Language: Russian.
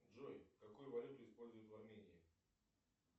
джой какую валюту используют в армении